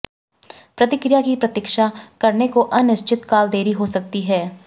प्रतिक्रिया की प्रतीक्षा करने को अनिश्चित काल देरी हो सकती है